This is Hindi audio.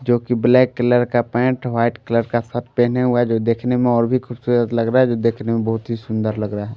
जो कि ब्लैक कलर का पेंट वाइट कलर का सट पहने हुआ जो देखने में और भी खूबसूरत लग रहा है जो देखने में बहुत ही सुंदर लग रहा है।